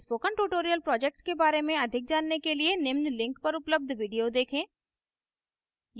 spoken tutorial project के बारे में अधिक जानने के लिए निम्न link पर पर उपलब्ध video देखें